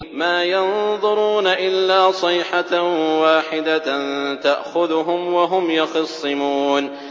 مَا يَنظُرُونَ إِلَّا صَيْحَةً وَاحِدَةً تَأْخُذُهُمْ وَهُمْ يَخِصِّمُونَ